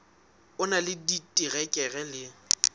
o na le diterekere le